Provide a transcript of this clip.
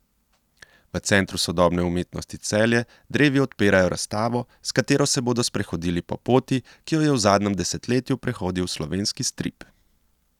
V Centru sodobne umetnosti Celje drevi odpirajo razstavo, s katero se bodo sprehodili po poti, ki jo je v zadnjem desetletju prehodil slovenski strip.